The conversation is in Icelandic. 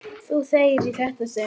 Þú þegir í þetta sinn!